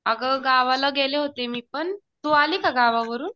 अगं गावाला गेले होते मी पण. तू आली का गावावरून?